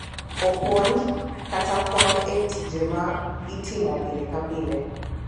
Opuonj, kata konyo e tije ma itimo pile ka pile.